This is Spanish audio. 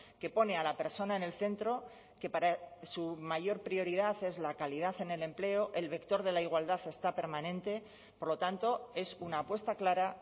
que pone a la persona en el centro que para su mayor prioridad es la calidad en el empleo el vector de la igualdad está permanente por lo tanto es una apuesta clara